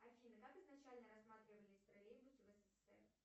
афина как изначально рассматривались троллейбусы в ссср